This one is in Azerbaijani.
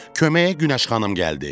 Köməyə Günəş xanım gəldi.